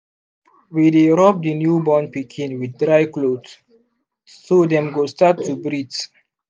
we dy rub the new born pikin with dry cloth so dem go start to breath